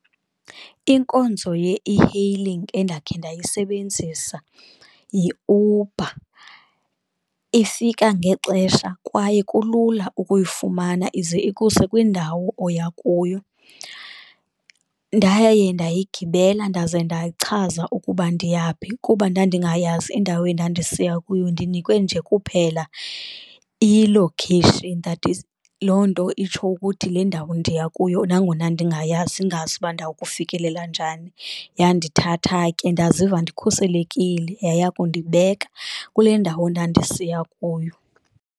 Inkonzo ye-e-hailing endakhe ndayisebenzisa yiUber, ifika ngexesha kwaye kulula ukuyifumana ize ikuse kwindawo oya kuyo. Ndaye ndayigibela ndaze ndachaza ukuba ndiyaphi kuba ndandingayazi indawo endandisiya kuyo, ndinikwe nje kuphela ilokheyishini that is loo nto itsho ukuthi le ndawo ndiya kuyo. Nangona ndingayazi, ndingazi uba ndawkufikelela njani yandithatha ke ndaziva ndikhuselekile yayakundibeka kule ndawo ndandisiya kuyo.